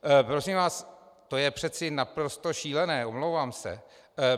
Prosím vás, to je přeci naprosto šílené, omlouvám se.